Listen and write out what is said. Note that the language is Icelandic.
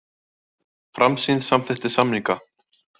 Framsýn samþykkti samninga